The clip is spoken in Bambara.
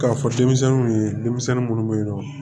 K'a fɔ denmisɛnninw ye denmisɛnnin minnu bɛ yen nɔ